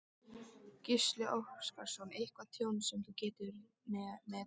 Gísli Óskarsson: Eitthvað tjón sem þú getur metið?